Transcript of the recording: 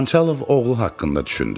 Xançalov oğlu haqqında düşündü.